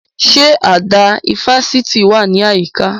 Ṣé àdá ifásitì wà ní àyíká?